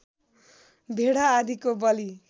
भेडा आदिको बलि